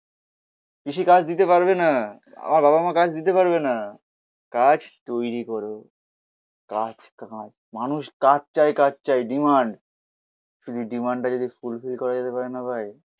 পিসি কাজ দিতে পারবে না. আমার বাবা-মা কাজ দিতে পারবে না. কাজ তৈরি করো, কাজ কাজ, মানুষ কাজ চায়, কাজ চায়, ডিমান্ড শুধু ডিমান্ড টা যদি ফুলফিল করা যেতে পারে না ভাই.